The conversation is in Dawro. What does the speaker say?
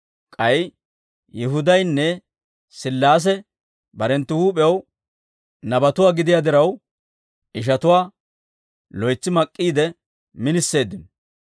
K'ay Yihudaynne Sillaase barenttu huup'ew nabatuwaa gidiyaa diraw, ishatuwaa loytsi mak'k'iide miniseeddino.